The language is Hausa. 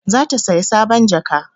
Za ta saya sabon jaka